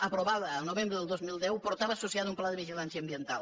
aprovada el novembre del dos mil deu portava associat un pla de vigilància ambiental